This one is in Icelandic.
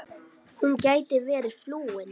Hún gæti verið flúin.